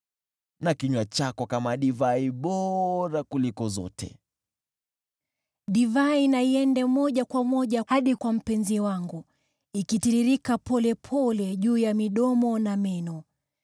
na kinywa chako kama divai bora kuliko zote. Mpendwa Divai na iende moja kwa moja hadi kwa mpenzi wangu, ikitiririka polepole juu ya midomo na meno.